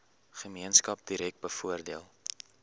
gemeenskap direk bevoordeel